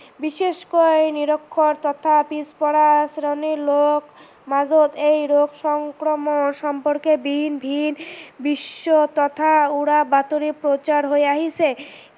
বিশষকৈ নিৰক্ষৰ তথা পিছ পৰা শ্ৰেণীৰ লোকৰ মাজত এই ৰোগ সংক্ৰমনৰ সম্পৰ্কে ভিন ভিন মিশ্ৰ তথা উৰা বাতৰি প্ৰচাৰ হৈ আহিছে।